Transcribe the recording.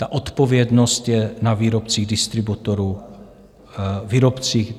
Ta odpovědnost je na výrobcích, distributorech a lékárnách.